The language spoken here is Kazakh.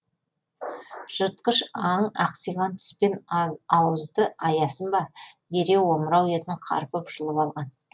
жыртқыш аң ақсиған тіс пен ауызды аясын ба дереу омырау етін қарпып жұлып алған